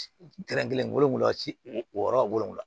kelen wolonfila ci o yɔrɔ wolonwula